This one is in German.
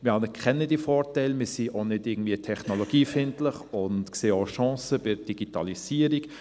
Wir anerkennen diese Vorteile, wir sind auch nicht irgendwie technologiefeindlich, und wir sehen auch Chancen bei der Digitalisierung.